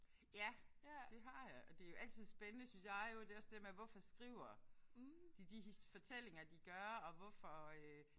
Ja det har jeg. Og det er jo altid spændende synes jeg jo det er også det der med hvorfor skriver de de fortællinger de gør og hvorfor øh